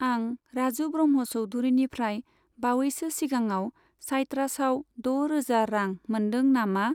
आं राजु ब्रह्म' चौधुरिनिफ्राय बावैसो सिगाङव साइट्रासआव द' रोजा रां मोनदों नामा?